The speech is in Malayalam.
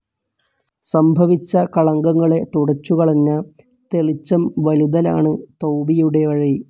സംഭവിച്ച കളങ്കങ്ങളെ തുടച്ചുകളഞ്ഞ, തെളിച്ചം വലുതലാണ് തൗബിയുടെ വഴി.